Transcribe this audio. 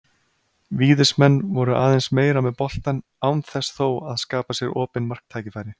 Víðismenn voru aðeins meira með boltann án þess þó að skapa sér opin marktækifæri.